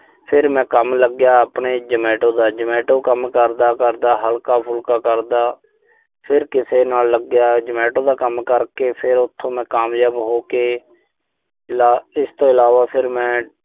ਫਿਰ ਮੈਂ ਕੰਮ ਲੱਗਿਆ ਆਪਣੇ Zomato ਦਾ। Zomato ਕੰਮ ਕਰਦਾ-ਕਰਦਾ, ਹਲਕਾ-ਫੁਲਕਾ ਕਰਦਾ। ਫਿਰ ਕਿਸੇ ਨਾਲ ਲੱਗਿਆ। Zomato ਦਾ ਕੰਮ ਕਰਕੇ, ਫਿਰ ਉਥੋਂ ਮੈਂ ਕਾਮਯਾਬ ਹੋ ਕੇ ਲਾ ਅਹ ਇਸ ਤੋਂ ਇਲਾਵਾ ਫਿਰ ਮੈਂ